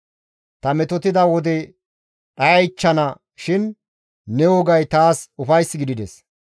Ta metotida wode dhayaychchana shin ne wogay taas ufays gidides.